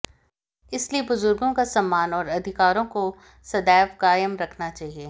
इसलिए बुजुर्गों का सम्मान और अधिकारों को सदैव कायम रखना चाहिए